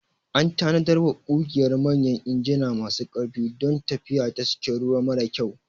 An tanadarwa ƙugiyar manyan injina masu ƙarfi don tafiya ta cikin ruwa mara kyau.